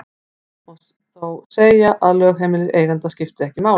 Almennt má þó segja að lögheimili eiganda skipti ekki máli.